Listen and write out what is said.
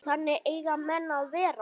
Þannig eiga menn að vera.